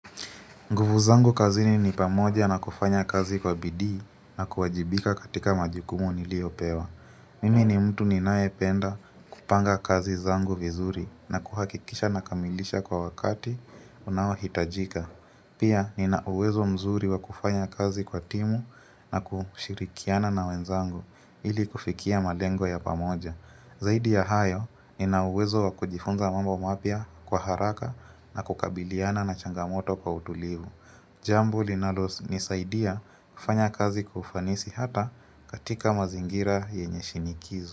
Nguvu zangu kazini ni pamoja na kufanya kazi kwa bidii na kuwajibika katika majukumu niliopewa. Mimi ni mtu ninayependa kupanga kazi zangu vizuri na kuhakikisha nakamilisha kwa wakati unaohitajika. Pia nina uwezo mzuri wa kufanya kazi kwa timu na kushirikiana na wenzangu ili kufikia malengo ya pamoja. Zaidi ya hayo nina uwezo wa kujifunza mambo mapya kwa haraka na kukabiliana na changamoto kwa utulivu. Jambo linalo nisaidia kufanya kazi kwa ufanisi hata katika mazingira yenye shinikizo.